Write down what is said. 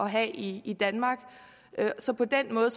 have i i danmark så på den måde